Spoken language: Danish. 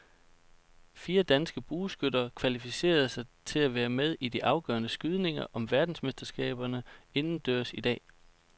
Fire danske bueskytter kvalificerede sig til at være med i de afgørende skydninger om verdensmesterskaberne indendørs i dag.